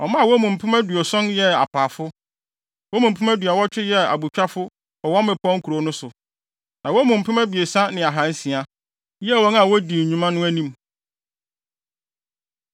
Ɔmaa wɔn mu mpem aduɔson (70,000) yɛɛ apaafo. Wɔn mu mpem aduɔwɔtwe (80,000) yɛɛ abotwafo wɔ wɔn mmepɔw nkurow no so, na wɔn mu mpem abiɛsa ne ahansia (3,600) yɛɛ wɔn a wodi nnwuma no anim.